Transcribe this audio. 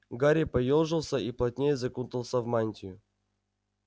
гарри поёжился и плотнее закутался в мантию